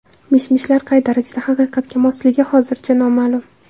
Mishmishlar qay darajada haqiqatga mosligi hozircha noma’lum.